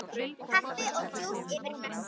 Kaffi og djús eftir messu.